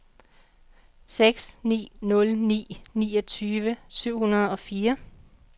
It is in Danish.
seks ni nul ni niogtyve syv hundrede og fire